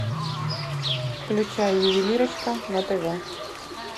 включай ювелирочка на тв